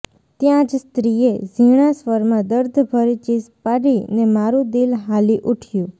ત્યાં જ સ્ત્રીએ ઝીણા સ્વરમાં દર્દભરી ચીસ પાડી ને મારું દિલ હાલી ઉઠ્યું